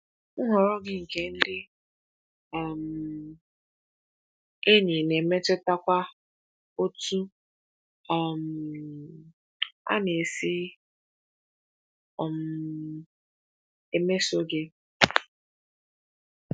Nhọrọ gị nke ndị um enyi na-emetụtakwa otú um a na-esi um emeso gị.